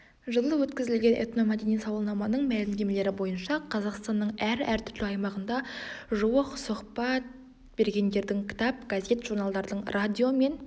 жылы өткізілген этномәдени сауалнаманың мәлімдемелері бойынша қазақстанның әр әртүрлі аймағында жуық сұхба ргендердің кітап газет журналдардың радио мен